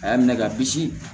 A y'a minɛ ka bisi